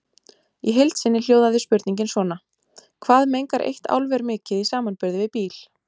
Í heild sinni hljóðaði spurningin svona: Hvað mengar eitt álver mikið í samanburði við bíl.